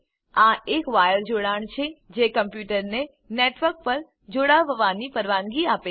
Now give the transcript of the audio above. આ એક વાયર જોડાણ છે જે કમ્પ્યુટરને નેટવર્ક પર જોડાવવાની પરવાનગી આપે છે